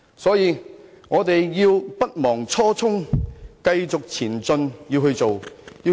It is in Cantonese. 所以，大家勿忘初衷，繼續前進，好好做事。